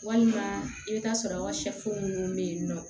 Walima i bɛ t'a sɔrɔ an ka minnu bɛ yen nɔ